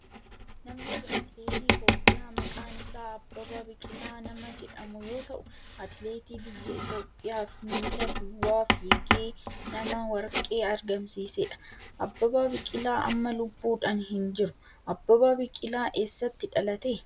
Namni kun atileetii Itiyoophiyaa maqaan isaa Abbabaa Biqilaa nama jedhamu yoo ta'u atileetii biyya Itiyoophiyaaf miila duwwaa figee nama warqee argamsiisedha. Abbabaa Biqila amma lubbuudhan hin jiru. Abbabaa Biqilaa eessatti dhalate?